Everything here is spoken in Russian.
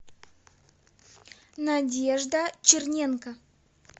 надежда черненко